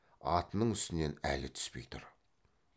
атының үстінен әлі түспей тұр